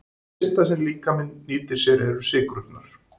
Það fyrsta sem líkaminn nýtir sér eru sykrurnar.